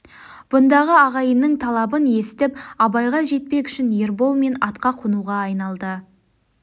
бұндағы ағайынның талабын есітіп абайға жетпек үшін ербол мен атқа қонуға айналды